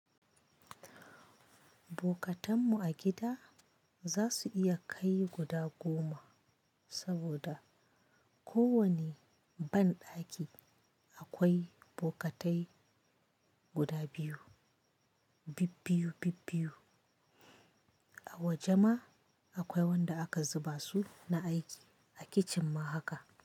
Bokatanmu a gida za su iya kai guda goma, saboda ko wane banɗaki akwai bokatai guda biyu, bibbiyu-bibbiyu. A waje ma akwai wanda aka zuba su na aiki, a kicin ma haka.